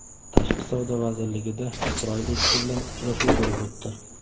Tashqi savdo vazirligida Isroil elchisi bilan uchrashuv bo‘lib o‘tdi.